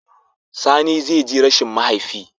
Sani zai ji rashin mahaifi